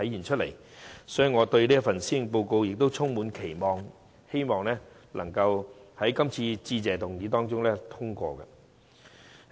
因此，我對這份施政報告充滿期望，亦希望致謝議案可獲通過。